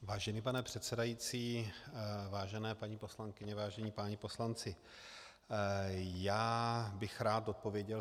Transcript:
Vážený pane předsedající, vážené paní poslankyně, vážení páni poslanci, já bych rád odpověděl.